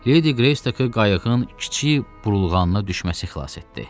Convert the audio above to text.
Ledi Qreystokı qayığın kiçik burulğanına düşməsi xilas etdi.